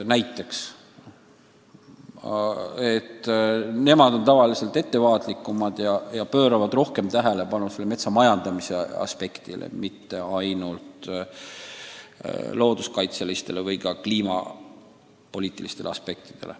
Need riigid on ettevaatlikumad ja pööravad rohkem tähelepanu ka metsa majandamise aspektile, mitte ainult looduskaitselistele ja kliimapoliitilistele aspektidele.